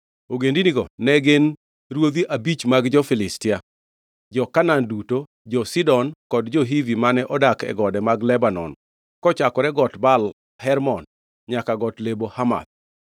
Ogendinigo ne gin: ruodhi abich mag jo-Filistia, jo-Kanaan duto, jo-Sidon, kod jo-Hivi mane odak e gode mag Lebanon kochakore got Baal Hermon nyaka got Lebo Hamath.